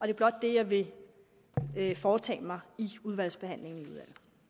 er blot det jeg vil foretage mig i udvalgsbehandlingen